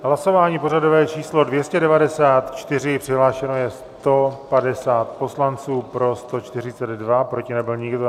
Hlasování pořadové číslo 294, přihlášeno je 150 poslanců, pro 142, proti nebyl nikdo.